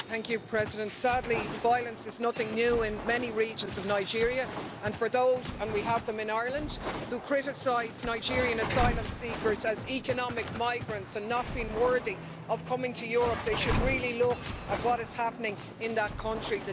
Madam President, sadly, violence is nothing new in many regions of Nigeria, and for those and we have them in Ireland who criticise Nigerian asylum seekers as economic migrants and not worthy of coming to Europe, they should really look at what is happening in that country.